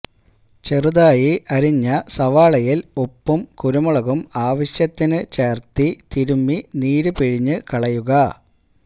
ചെറുതായി അരിഞ്ഞ സവാളയില് ഉപ്പും കുരുമുളകും ആവശ്യത്തിന് ചേര്ത്ത് തിരുമ്മി നീര് പിഴിഞ്ഞു കളയുക